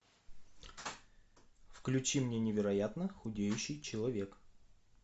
включи мне невероятно худеющий человек